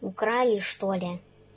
украли что ли